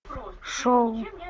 шоу